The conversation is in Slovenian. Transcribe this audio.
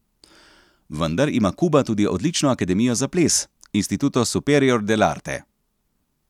Vendar ima Kuba tudi odlično akademijo za ples, Instituto superior del Arte.